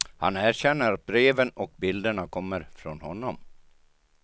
Han erkänner att breven och bilderna kommer från honom.